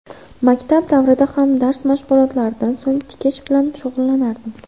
Maktab davrida ham dars mashg‘ulotlaridan so‘ng tikish bilan shug‘ullanardim.